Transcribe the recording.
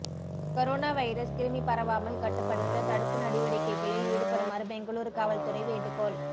corona virus கிருமி பரவாமல் கட்டுப்படுத்த தடுப்பு நடவடிக்கைகளில் ஈடுபடுமாறு பெங்களூரு காவல் துறை வேண்டுகோள்